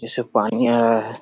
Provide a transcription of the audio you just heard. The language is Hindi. इससे पानी आ रहा है।